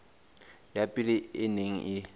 ya pele e neng e